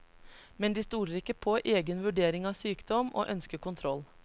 Men de stoler ikke på egen vurdering av sykdom, og ønsker kontroll.